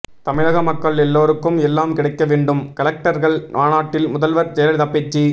தமிழக மக்கள் எல்லோருக்கும் எல்லாம் கிடைக்க வேண்டும் கலெக்டர்கள் மாநாட்டில் முதல்வர் ஜெயலலிதா பேச்சு